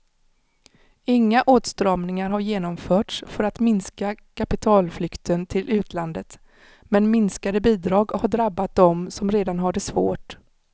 Inga åtstramningar har genomförts för att minska kapitalflykten till utlandet, men minskade bidrag har drabbat dem som redan har det svårt.